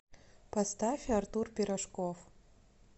поставь артур пирожков